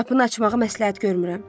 Qapını açmağı məsləhət görmürəm.